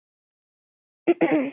En ekki í þetta sinn.